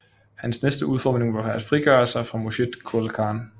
Hans næste udfordring var at frigøre sig fra Murshid Qoli Khan